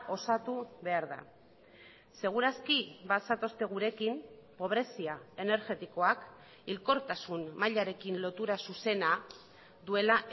osatu behar da seguraski bazatozte gurekin pobrezia energetikoak hilkortasun mailarekin lotura zuzena duela